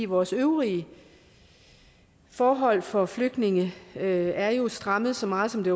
vores øvrige forhold for flygtninge er jo strammet så meget som det